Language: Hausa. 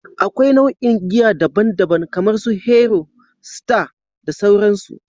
Akwai nau'o'in giya daban-daban kamar su Hero, Star, da sauransu.